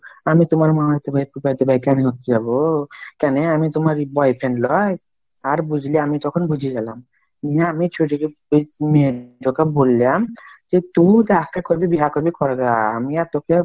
আমি তুমার মামীতো ভাই ফুফাত ভাই কেমনে হতে যাবো কেনে আমি তোমার boyfriend লয়? আর বুঝলি আমি তখন বুঝে গেলাম মেয়েটকে বোললাম যে তুমি যাকে কবে বিহা করবে করবা আমি আর তোকে ,